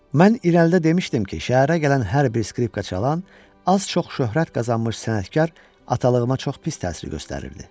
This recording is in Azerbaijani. Mən irəlidə demişdim ki, şəhərə gələn hər bir skripka çalan, az-çox şöhrət qazanmış sənətkar atalığıma çox pis təsir göstərirdi.